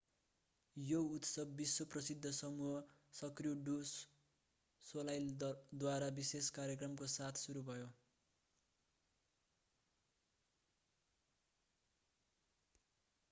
यो उत्सव विश्व-प्रसिद्ध समूह सर्क्यू डु सोलाईलद्वारा विशेष कार्यक्रमको साथ सुरु भयो